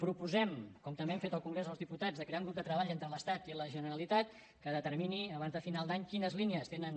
proposem com també hem fet al congrés dels diputats de crear un grup de treball entre l’estat i la generalitat que determini abans de final d’any quines línies tenen